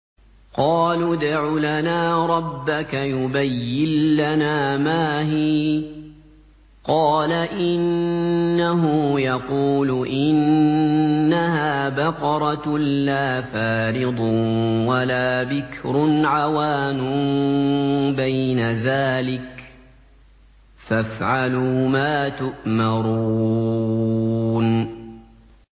قَالُوا ادْعُ لَنَا رَبَّكَ يُبَيِّن لَّنَا مَا هِيَ ۚ قَالَ إِنَّهُ يَقُولُ إِنَّهَا بَقَرَةٌ لَّا فَارِضٌ وَلَا بِكْرٌ عَوَانٌ بَيْنَ ذَٰلِكَ ۖ فَافْعَلُوا مَا تُؤْمَرُونَ